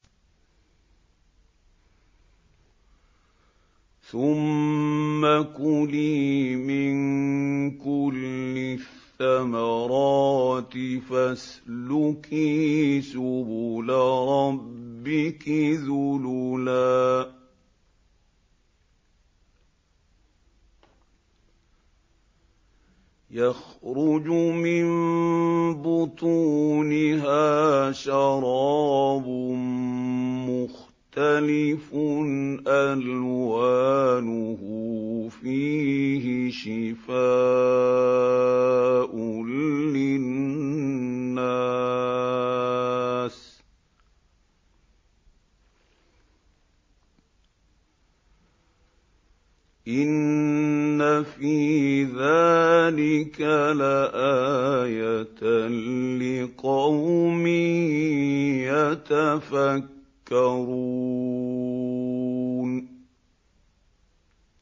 ثُمَّ كُلِي مِن كُلِّ الثَّمَرَاتِ فَاسْلُكِي سُبُلَ رَبِّكِ ذُلُلًا ۚ يَخْرُجُ مِن بُطُونِهَا شَرَابٌ مُّخْتَلِفٌ أَلْوَانُهُ فِيهِ شِفَاءٌ لِّلنَّاسِ ۗ إِنَّ فِي ذَٰلِكَ لَآيَةً لِّقَوْمٍ يَتَفَكَّرُونَ